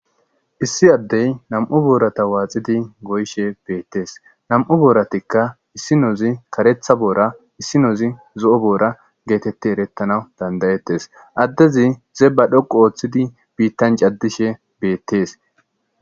Issi addey nam'u boorata waaxidi goyshe beettees nam'u booratikka issinozi karetha boora issinoozi zo'o boora geetetti erettana dandayettes addezi zee ba dhoqu ooththidi biittan caddishe beettees.